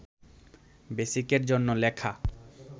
বেসিকের জন্য লেখা